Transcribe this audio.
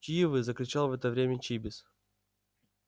чьи вы закричал в это время чибис